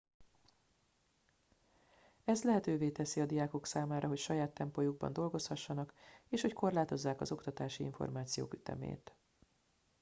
ez lehetővé teszi a diákok számára hogy saját tempójukban dolgozhassanak és hogy korlátozzák az oktatási információk ütemét